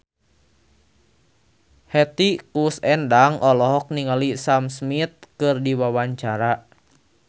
Hetty Koes Endang olohok ningali Sam Smith keur diwawancara